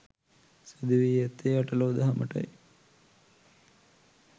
සිදු වී ඇත්තේ අට ලෝ දහමටයි.